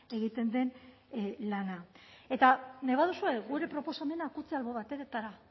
egiten den lana eta nahi baduzue gure proposamenak utzi albo batetara